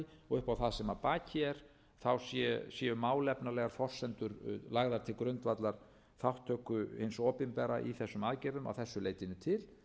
og upp á það sem að baki er séu málefnalegar forsendur lagðar til grundvallar þátttöku hins opinbera í þessum aðgerðum að þessu leytinu til